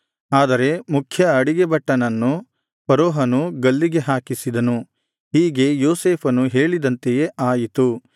ಆದರೆ ಮುಖ್ಯ ಅಡಿಗೆಭಟ್ಟನನ್ನು ಫರೋಹನು ಗಲ್ಲಿಗೆ ಹಾಕಿಸಿದನು ಹೀಗೆ ಯೋಸೇಫನು ಹೇಳಿದಂತೆಯೇ ಆಯಿತು